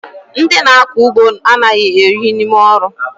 Ndị na-akọ ugbo anaghị ehi n'ime ọrụ